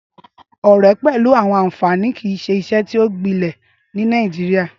Ọrẹ pẹlu àwọn anfani kii ṣe iṣe ti o gbilẹ ni Nàìjíríà.